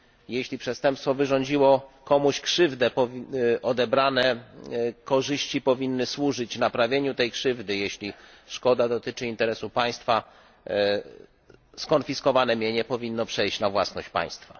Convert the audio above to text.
Jeśli przestępstwo wyrządziło komuś krzywdę, odebrane korzyści powinny służyć naprawieniu tej krzywdy, a jeżeli szkoda dotyczy interesu państwa skonfiskowane mienie powinno przejść na własność państwa.